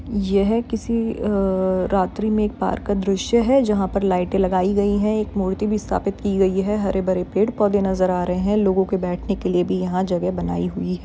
यह किसी अअअ रात्री में एक पार्क का द्रश्य है जहाँ पर लाइटे लगाई गई है एक मूर्ति भी स्थापित की गई है हरे-भरे पेड़-पौधे नज़र आ रहे है लोगो के बैठने के लिए भी यहाँ जगह बनाई हुई है।